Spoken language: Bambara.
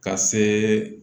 Ka se